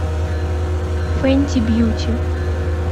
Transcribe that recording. фэнти бьюти